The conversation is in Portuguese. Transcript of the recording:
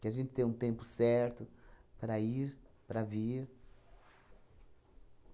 Que a gente tem um tempo certo para ir, para vir.